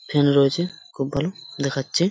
Feel রয়েছে খুব ভালো দেখাচ্ছে ।